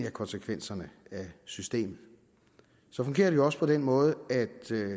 af konsekvenserne af systemet så fungerer det jo også på den måde at